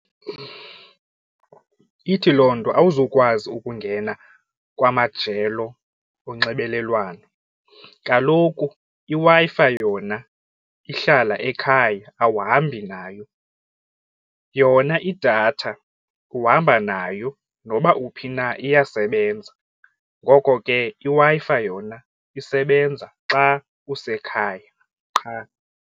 Ithi loo nto awuzukwazi ukungena kwamajelo onxibelelwano. Kaloku iWi-Fi yona ihlala ekhaya awuhambi nayo. Yona idatha uhamba nayo noba uphi na iyasebenza. Ngoko ke iWi-Fi yona isebenza xa usekhaya qha.